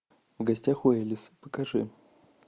в гостях у элис покажи